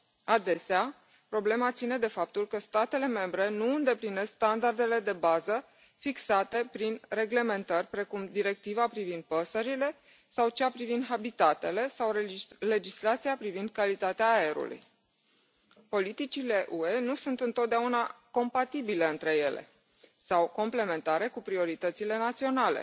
Adesea, problema ține de faptul că statele membre nu îndeplinesc standardele de bază fixate prin reglementări precum Directiva privind păsările sau cea privind habitatele sau legislația privind calitatea aerului. Politicile UE nu sunt întotdeauna compatibile între ele sau complementare cu prioritățile naționale.